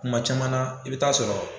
Kuma caman i bi t'a sɔrɔ